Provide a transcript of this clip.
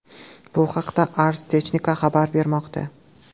Bu haqda Ars Technica xabar bermoqda .